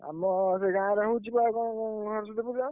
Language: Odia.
ଆମ ସେଇ ଗାଁରେ ହଉଛି ବା କଣ ସରସ୍ୱତୀ ପୂଜା।